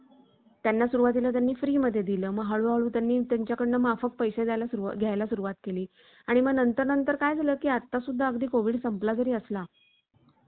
एकोणीसशे सत्तेचाळीस साली आपला देश स्वतंत्र झाला. देशभर आपली मंत्रीमंडळी हे कारभार करू लागली. लाल बहादूर शास्त्री, प्रथम उत्तर प्रदेशात मंत्री झाले. त्यांचा त्याग, कष्ट, प्रामाणिकपणा हे गुण सर्वांच्या नजरेत भरले.